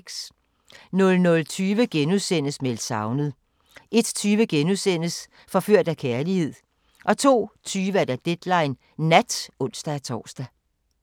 00:20: Meldt savnet * 01:20: Forført af kærlighed * 02:20: Deadline Nat (ons-tor)